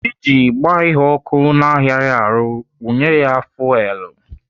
Iji gbaa ihe ọkụ na-araghị ahụ, wunye ya fuwel.